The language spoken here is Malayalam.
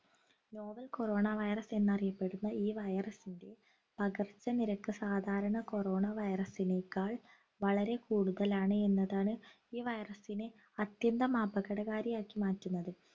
novel corona virus എന്നറിയപ്പെടുന്ന ഈ virus ൻ്റെ പകർച്ചനിരക്ക് സാധാരണ corona virus നെക്കാൾ വളരെ കൂടുതലാണ് എന്നതാണ് ഈ virus നെ അത്യന്തം അപകടകാരിയാക്കി മാറ്റുന്നത്